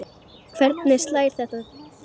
Hvernig slær þetta þig?